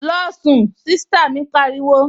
Losun! Sista mi pariwo